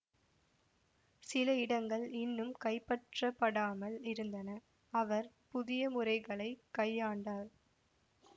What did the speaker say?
சில இடங்கள் இன்னும் கைப்பற்றப்படாமல் இருந்தன அவர் புதிய முறைகளை கையாண்டார்